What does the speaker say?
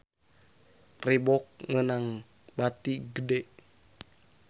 Reebook meunang bati gede